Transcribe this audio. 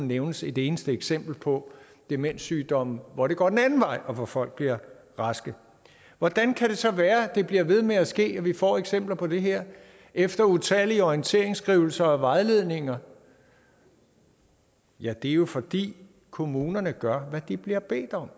nævnes et eneste eksempel på demenssygdomme hvor det går den anden vej og hvor folk bliver raske hvordan kan det så være at det bliver ved med at ske at vi får eksempler på det her efter utallige orienteringsskrivelser og vejledninger ja det er jo fordi kommunerne gør hvad de bliver bedt om